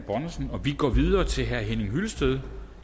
bonnesen og vi går videre til herre henning hyllested